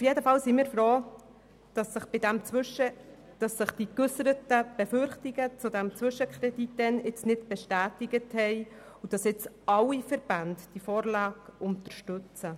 Jedenfalls sind wir froh, dass sich die damals geäusserten Befürchtungen zum Zwischenkredit nicht bestätigt haben und alle Verbände diese Vorlage nun unterstützen.